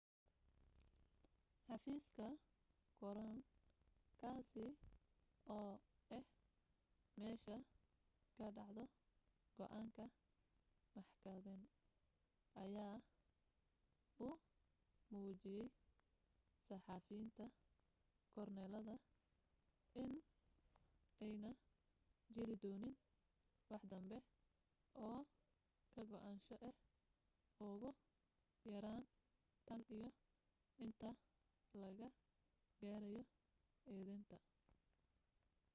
xafiiska korown kaasi oo ah meesha ka dhacdo go'aanka maxkadaynta, ayaa u muujiyay saxafiyiinta joornaalada in aanay jirin doonin waxdanbe oo ka go'naansho ah ugu yaraan tan iyo inta laga gaadhayo eedaynta